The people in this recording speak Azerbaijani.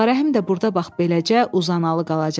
Ağarəhim də burda bax beləcə uzanalı qalacaq.